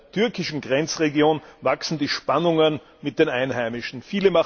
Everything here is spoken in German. Und in der türkischen Grenzregion wachsen die Spannungen mit den Einheimischen.